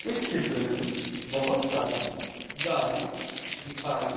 इस चित्र में बहुत सारी गाय दिखाई--